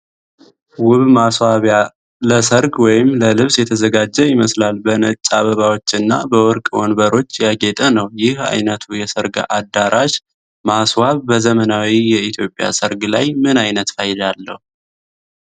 ውብ ማስዋቢያ ለሠርግ ወይም ለመልስ የተዘጋጀ ይመስላል፤ በነጭ አበባዎችና በወርቅ ወንበሮች ያጌጠ ነው። ይህ ዓይነቱ የሠርግ አዳራሽ ማስዋብ በዘመናዊ የኢትዮጵያ ሠርግ ላይ ምን ዓይነት ፋይዳ አለው?